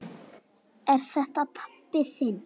Er þetta pabbi þinn?